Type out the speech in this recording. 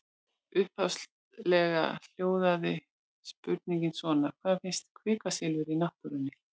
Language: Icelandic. Upphaflega hljóðaði spurningin svona: Hvar finnst kvikasilfur í náttúrunni?